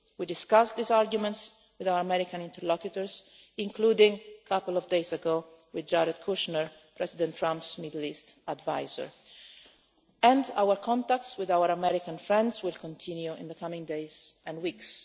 We discussed these arguments with our American interlocutors, including a couple of days ago with Jared Kushner, President Trump's Middle East adviser, and our contacts with our American friends will continue in the coming days and weeks.